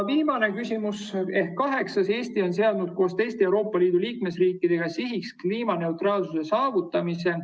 Viimane ehk kaheksas küsimus: "Eesti on seadnud koos teiste EL riikidega sihiks kliimaneutraalsuse saavutamise.